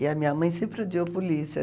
E a minha mãe sempre odiou polícia.